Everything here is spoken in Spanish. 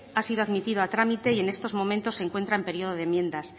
ha sido admitida a trámite y en estos momentos se encuentra en periodo de enmiendas